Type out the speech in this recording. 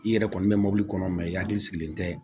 I yɛrɛ kɔni bɛ mobili kɔnɔ mɛ i hakili sigilen tɛ